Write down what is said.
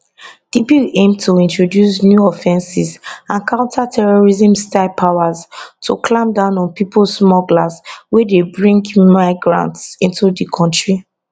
di bill aim to introduce new offences and counter terrorismstyle powers to clamp down on pipo smugglers wey dey bring migrants into di kontri